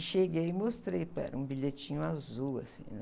E cheguei e mostrei, para ela, um bilhetinho azul assim, né?